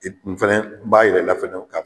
E tun fɛnɛ n b'a yira i la fɛnɛw ka